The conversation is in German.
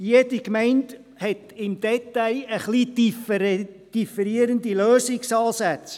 Jede Gemeinde hat im Detail ein wenig differierende Lösungsansätze.